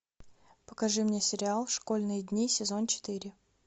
покажи мне сериал школьные дни сезон четыре